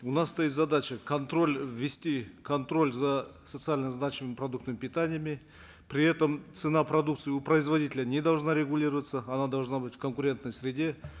у нас стоит задача контроль ввести контроль за социально значимыми продуктами питания при этом цена продукции у производителя не должна регулироваться она должна быть в конкурентной среде